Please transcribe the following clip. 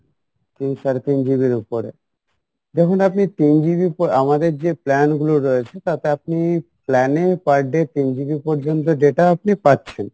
তিন, সাড়ে তিন GB এর উপরে দেখুন আপনি তিন GB ইর উপর আমাদের যে plan গুলো রয়েছে তাতে আপনি plan এ per day তিন GB পর্যন্ত data আপনি পাচ্ছেন,